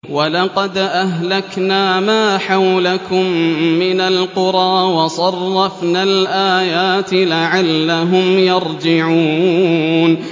وَلَقَدْ أَهْلَكْنَا مَا حَوْلَكُم مِّنَ الْقُرَىٰ وَصَرَّفْنَا الْآيَاتِ لَعَلَّهُمْ يَرْجِعُونَ